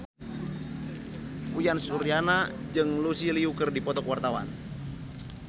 Uyan Suryana jeung Lucy Liu keur dipoto ku wartawan